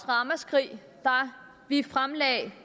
ramaskrig da vi fremsatte